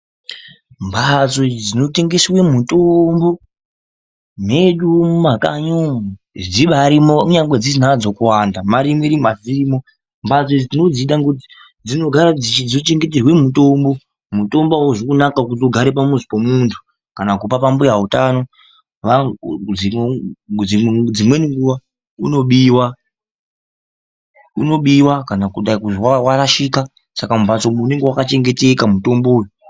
Mhatso dzinotengesa mitombo mwedu mumakanyi umu dzibaarimwo kunyangwe dzisina hadzo kuwanda ma rimwe rimwe asi dziri mwo. Mhatso idzi tinodzida ngekuti dzinochengeterwa mitombo. Mutombo auzi kunaka kuti ugare pamuzi pemuntu kana kumba kwambuya utano, dzimweni nguwa unobiwa. Unobiwa kana kuzwi warashika saka mumhatso unenge wakachengeteka mutombo uyo.